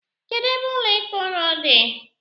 Kedu ebe ụlọ ikpe ụnụ dị?